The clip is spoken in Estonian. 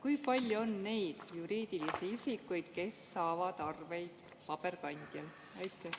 Kui palju on neid juriidilisi isikuid, kes saavad arveid paberkandjal?